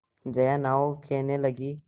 जया नाव खेने लगी